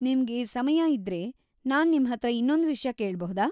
ನಿಮ್ಗೆ ಸಮಯ ಇದ್ರೆ, ನಾನ್ ನಿಮ್ಹತ್ರ ಇನ್ನೊಂದ್‌ ವಿಷ್ಯ ಕೇಳ್ಬಹುದಾ?